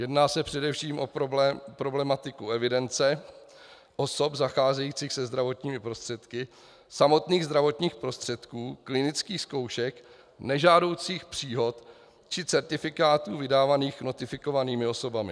Jedná se především o problematiku evidence osob zacházejících se zdravotními prostředky, samotných zdravotních prostředků, klinických zkoušek, nežádoucích příhod či certifikátů vydávaných notifikovanými osobami.